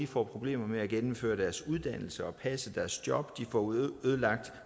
får problemer med at gennemføre deres uddannelse og passe deres job de får ødelagt